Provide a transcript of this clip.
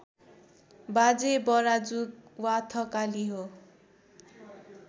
बाजे बराजु वा थकाली हो